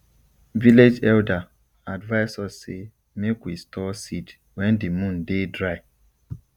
village elder advise us say make we store seed wen di moon dey dry